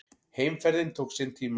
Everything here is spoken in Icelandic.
Heimferðin tók sinn tíma.